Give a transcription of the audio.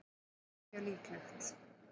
ekki mjög líklegt